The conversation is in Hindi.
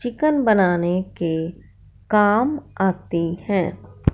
चिकन बनाने के काम आती हैं।